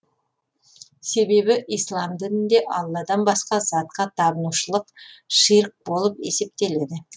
себебі ислам дінінде алладан басқа затқа табынушылық ширк болып есептеледі